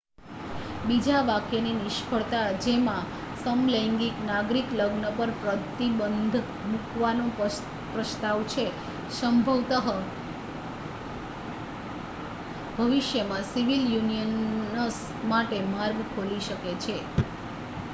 બીજા વાક્યની નિષ્ફળતા, જેમાં સમલૈંગિક નાગરિક લગ્ન પર પ્રતિબંધ મૂકવાનો પ્રસ્તાવ છે, સંભવત: ભવિષ્યમાં સિવિલ યુનિયનસ માટે માર્ગ ખોલી શકે છે